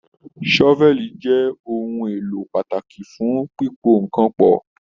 Sọ́fẹ̀lí jẹ ohùn èlò pàtàkì fún pipo nkán pọ.